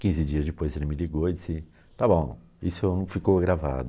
Quinze dias depois ele me ligou e disse, está bom, isso não ficou gravado.